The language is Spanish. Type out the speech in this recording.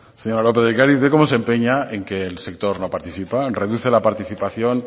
señora lópez de ocariz ve como se empeña en que el sector no participa reduce la participación